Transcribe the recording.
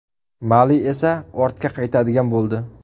Mali esa ortga qaytadigan bo‘ldi.